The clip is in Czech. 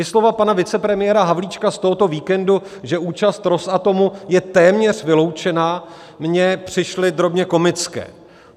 I slova pana vicepremiéra Havlíčka z tohoto víkendu, že účast Rosatomu je téměř vyloučená, mně přišly drobně komická.